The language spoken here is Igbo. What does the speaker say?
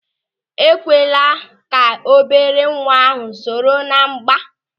Ekwekwala ka obere nwa ahụ soro ná mgba!